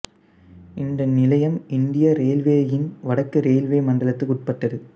இந்த நிலையம் இந்திய இரயில்வேயின் வடக்கு ரயில்வே மண்டலத்துக்கு உட்பட்டது